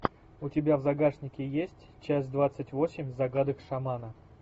у тебя в загашнике есть часть двадцать восемь загадок шамана